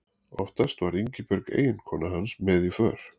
Oftast var Ingibjörg eiginkona hans með í för.